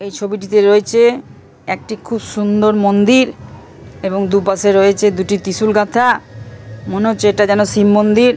''এই ছবিটিতে রয়েছে একটি খুব সুন্দর মন্দির এবং দু''''পাশের রয়েছে দুটি ত্রিসুল গাঁথা মনে হচ্ছে এটা যেন শিব মন্দির।''